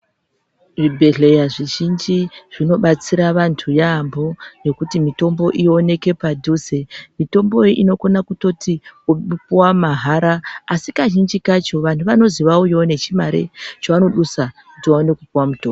Zvibhehleya zvizhinji zvinobatsira vantu yambo ngekuti kuti mitombo iwoneke padhuze mitombo iyi inotokona kutoti kupuwa mahara asi kazhinji kacho vantu vanonzwi vauyewo nechate chavanobusa kuti tiwane kupuwa mutombo.